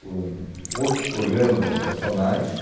por hum outros programas habitacionais.